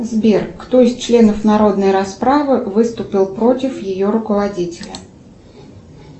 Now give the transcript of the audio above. сбер кто из членов народной расправы выступил против ее руководителя